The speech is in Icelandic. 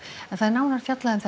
nánar um